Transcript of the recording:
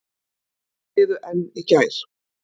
Þau biðu enn í gær.